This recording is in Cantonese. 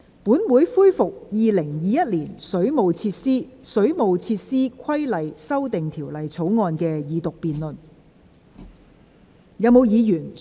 本會恢復《2021年水務設施條例草案》的二讀辯論。